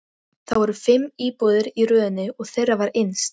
Það voru fimm íbúðir í röðinni og þeirra var innst.